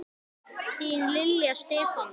Þín Lilja og Stefán.